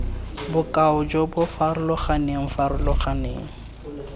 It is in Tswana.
bokaong jo bo farologaneng farologaneng